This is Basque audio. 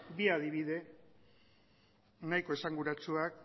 bi adibide nahiko esanguratsuak